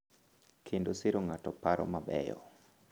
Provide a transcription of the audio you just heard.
Kendo siro ng’ado paro ma beyo.